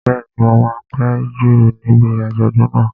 Bẹ́ẹ̀ni, mo máa péjú níbi àjọ̀dún náà